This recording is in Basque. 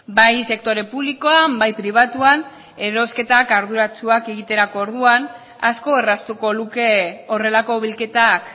bai sektore publikoan bai pribatuan erosketak arduratsuak egiterako orduan asko erraztuko luke horrelako bilketak